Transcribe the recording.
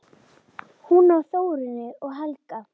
Hún á Þórunni og Helga.